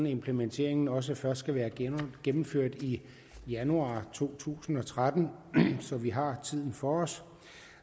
implementeringen også først skal være gennemført i januar to tusind og tretten så vi har tiden for os